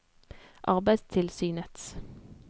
arbeidstilsynets